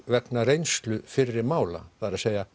vegna reynslu fyrri mála það er